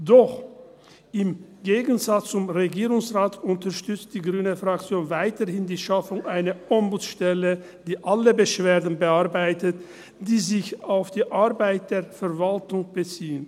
Doch im Gegensatz zum Regierungsrat unterstützt die Fraktion Grüne weiterhin die Schaffung eine Ombudsstelle, die alle Beschwerden bearbeitet, die sich auf die Arbeit der Verwaltung beziehen.